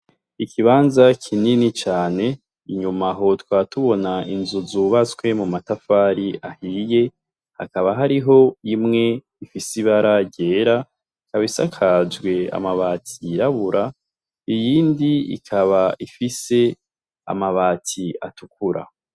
Ikibanza kinini cane, inyuma aho tukaba tubona inzu zubatse mumatafari ahiye, hakaba hariho imwe ifise ibara ryera, ikaba isakajwe amabati yirabura , iyindi ikaba ifise amabati atukura.